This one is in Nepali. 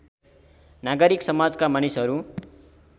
नागरिक समाजका मानिसहरू